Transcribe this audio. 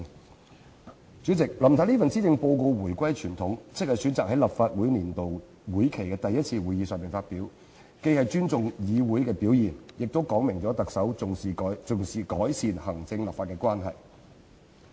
代理主席，林太這份施政報告回歸傳統，即選擇在立法會年度會期的第一次會議上發表，既是尊重議會的表現，亦說明特首重視改善行政立法關係。